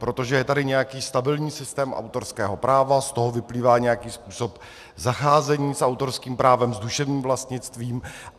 Protože je tady nějaký stabilní systém autorského práva, z toho vyplývá nějaký způsob zacházení s autorským právem, s duševním vlastnictvím.